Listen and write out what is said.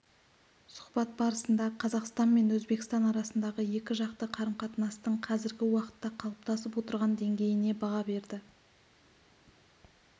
сұхбат барысында қазақстан мен өзбекстан арасындағы екіжақты қарым-қатынастың қазіргі уақытта қалыптасып отырған деңгейіне баға берді